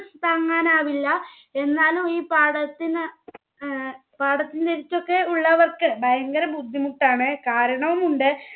താങ്ങാനാവില്ല എന്നാലു ഈ പാടത്തിന് ഏർ പാടത്തിന് അടുത്തൊക്കെ ഉള്ളവർക്ക് ഭയങ്കര ബുദ്ധിമുട്ടാണ് കാരണവുമുണ്ട്